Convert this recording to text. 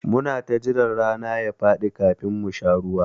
Muna jira rana ya faɗi kafin mu sha ruwa.